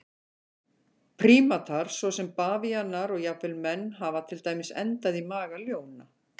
Prímatar svo sem bavíanar og jafnvel menn hafa til dæmis endað í maga ljóna.